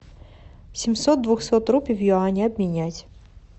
семьсот двухсот рупий в юани обменять